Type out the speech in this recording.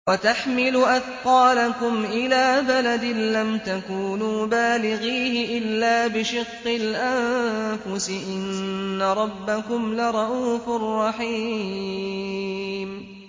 وَتَحْمِلُ أَثْقَالَكُمْ إِلَىٰ بَلَدٍ لَّمْ تَكُونُوا بَالِغِيهِ إِلَّا بِشِقِّ الْأَنفُسِ ۚ إِنَّ رَبَّكُمْ لَرَءُوفٌ رَّحِيمٌ